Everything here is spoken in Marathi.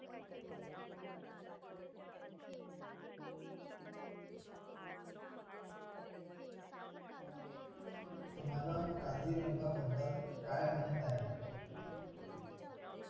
तुम्हाला काझीरंगाबद्दल काय माहित आहे